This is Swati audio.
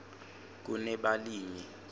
kunebalimi